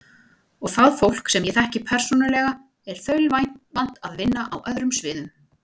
Og það fólk, sem ég þekki persónulega, er þaulvant að vinna á öðrum sviðum.